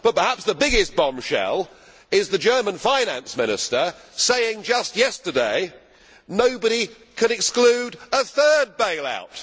But perhaps the biggest bombshell is the German Finance Minister saying just yesterday that nobody can exclude a third bail out.